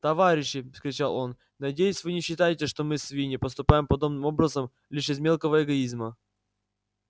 товарищи вскричал он надеюсь вы не считаете что мы свиньи поступаем подобным образом лишь из мелкого эгоизма